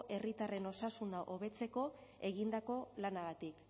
herritarren osasuna hobetzeko egindako lanagatik